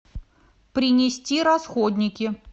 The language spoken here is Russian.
принести расходники